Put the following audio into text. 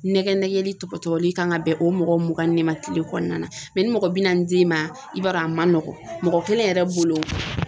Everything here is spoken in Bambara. Nɛgɛ nɛgɛli tɔgɔ tɔli kan ka bɛn o mɔgɔ mugan ni ma tile kɔnɔna ni mɔgɔ binna d'i ma i b'a dɔn a man nɔgɔ mɔgɔ kelen yɛrɛ bolo.